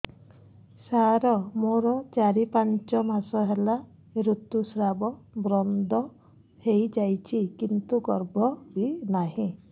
ସାର ମୋର ଚାରି ପାଞ୍ଚ ମାସ ହେଲା ଋତୁସ୍ରାବ ବନ୍ଦ ହେଇଯାଇଛି କିନ୍ତୁ ଗର୍ଭ ବି ନାହିଁ